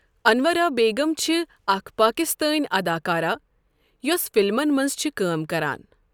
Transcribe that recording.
اَنوَرا بیغم چھِ اَکھ پاکِستٲنؠ اَداکارہ یۄس فِلمَن مَنٛز چھِ کٲم کَران۔